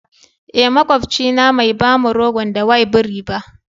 Eh, makwapcin na Mai ba mu rogon da y bribi ba.